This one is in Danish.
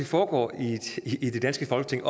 foregår i det danske folketing